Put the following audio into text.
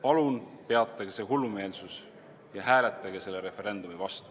Palun peatage see hullumeelsus ja hääletage selle referendumi vastu.